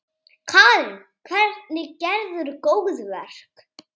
Karen: Hvernig gerðir þú góðverk?